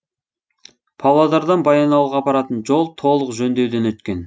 павлодардан баянауылға апаратын жол толық жөндеуден өткен